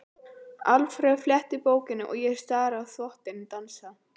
Alfreð flettir bókinni og ég stari á þvottinn dansa.